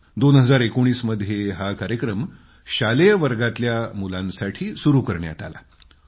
2019मध्ये हा कार्यक्रम शालेय वर्गातल्या मुलांसाठी सुरू केला होता